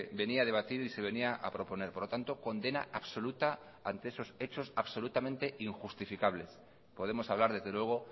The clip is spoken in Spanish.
venía a debatir y se venía a proponer por lo tanto condena absoluta ante esos hechos absolutamente injustificables podemos hablar desde luego